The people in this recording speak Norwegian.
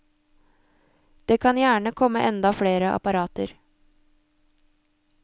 Det kan gjerne komme enda flere apparater.